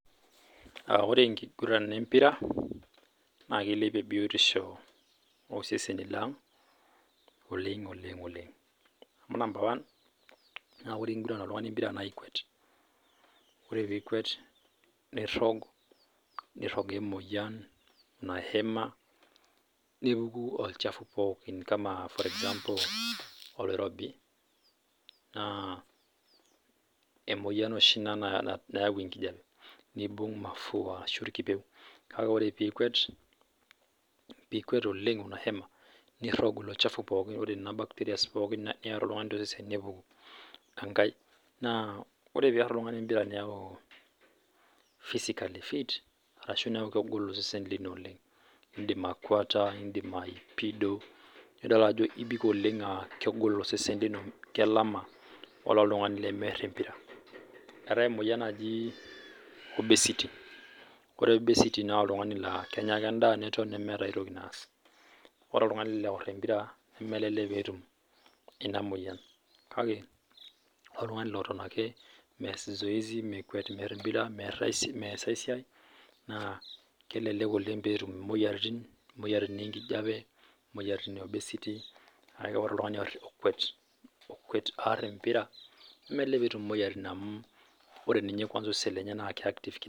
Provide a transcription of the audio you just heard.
Ore enkiguran embira naa keilepie biotisho oseseni lang oleng, oleng, oleng amu number one naaku ore eninguran oltungani imbira naa ikwet, ore piikwet nirog, nirogue emoyian nihema nepuku olchafu pookin kama for example oloirobi naa emoyian oshi inia neayau enkijape, neibung' emafua ashu kake ore piikwet oleng ahema nirogu ilo ilchafu pookin nena bacterias pookin nieta oltungani tosesen naa ore penguran embira niaku physically fit arashu neaku kegolu osesen lino oleng indim akuata, indim aipido, nidol ajo ibik oleng aakegol osesen kino, kelama ole oltungani lemear embira. Eatae emoyian najii obesity ,kore obesity naa oltungani laa kenya ake endaa netoni, nemeeta aitoki naas. Ore oltungani load embira nemelelek peetum ena emoyian kake ,ore oltungani leton ake meas zoezi mekwet impira meas esiai naa kelelek oleng peetum imoyiaritin enkijape, imoyiaritin e obesity akke ore oltungani oar okwet aar' embira nemelelek peetum imoyiaritin amu ore ninye kwansa osesen lenye naa reactive.